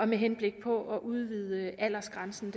med henblik på at udvide aldersgrænsen